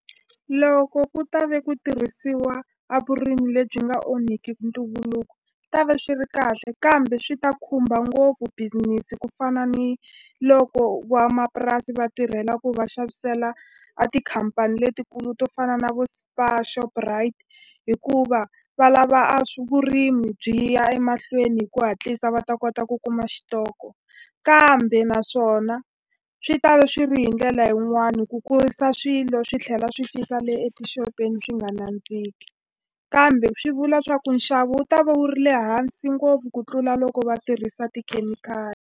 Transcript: Loko ku ta ve ku tirhisiwa a vurimi lebyi nga onhiki ntumbuluko ta ve swi ri kahle kambe swi ta khumba ngopfu business ku fana ni loko van'wamapurasi va tirhela ku va xavisela a tikhampani letikulu to fana na vo Spar Shoprite hikuva valava a vurimi byi ya emahlweni hi ku hatlisa va ta kota ku kuma xitoko kambe naswona swi ta ve swi ri hi ndlela yin'wani ku kurisa swilo swi tlhela swi fika le etixopeni swi nga nandziki kambe swi vula swa ku nxavo wu ta va wu ri le hansi ngopfu ku tlula loko va tirhisa .